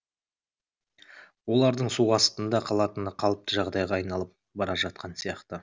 олардың су астында қалатыны қалыпты жағдайға айналып бара жатқан сияқты